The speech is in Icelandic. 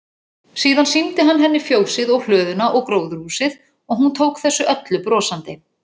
Síðan sýndi hann henni fjósið og hlöðuna og gróðurhúsið og hún tók þessu öllu brosandi.